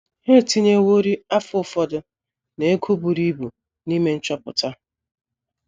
Ha etinyeworị afọ ụfọdụ na ego buru ibu n’ime nchọpụta.